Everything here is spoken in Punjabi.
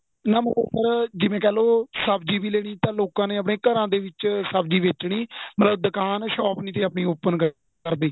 ਜਿਵੇਂ ਕਹਿਲੋ ਸਬਜ਼ੀ ਵੀ ਲੈਣੀ ਤਾਂ ਲੋਕਾ ਨੇ ਆਪਣੇਂ ਘਰਾਂ ਦੇ ਵਿੱਚ ਸਬਜ਼ੀ ਵੇਚਣੀ ਮਤਲਬ ਦੁਕਾਨ shop ਨਹੀਂ ਤੀ ਆਪਣੀ open ਕਰਦੇ